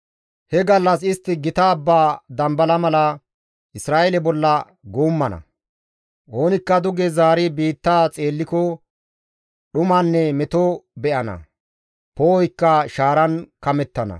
He gallas istti gita abba dambala mala, Isra7eele bolla guummana; oonikka duge zaari biittaa xeelliko dhumanne meto be7ana; poo7oykka shaaran kamettana.